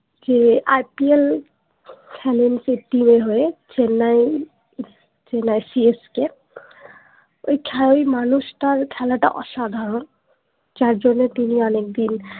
ছেড়ে আইপিএল খালেন ফিফটিনের হয়ে চেন্নাই সি এস কে ওই খালি মানুষ তার খেলাটা অসাধারণ যার জন্য তিনি অনেকদিন